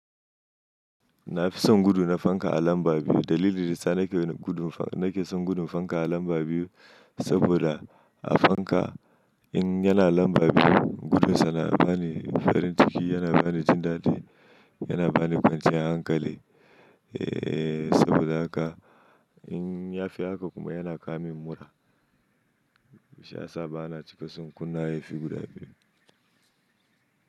Na fi son gudu na fanka a lamba biyu. Dalilin nasa nake son gudun fanka a lamba biyu, saboda a fanka in yana lamba biyu, gudun sa yana bani farin ciki, yana bani jin daɗi, yana bani kwanciyar hankali. Eeee saboda haka in ya fi haka kuma yana kawo min mura. Sha yasa bana cika son kunna yafi guda biyu.